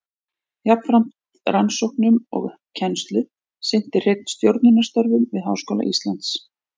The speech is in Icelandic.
Jafnframt rannsóknum og kennslu sinnti Hreinn stjórnunarstörfum við Háskóla Íslands.